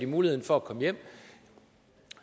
muligheden for at komme hjem